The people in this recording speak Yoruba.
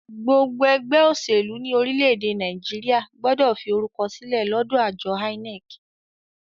Gbogbo ẹgbẹ́ òṣèlú ní orílẹ̀-èdè Nàìjíríà gbọ́dọ̀ fi orúkọ sílẹ̀ lọ́dọ àjọ INEC.